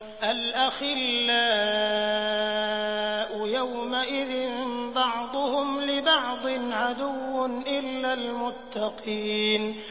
الْأَخِلَّاءُ يَوْمَئِذٍ بَعْضُهُمْ لِبَعْضٍ عَدُوٌّ إِلَّا الْمُتَّقِينَ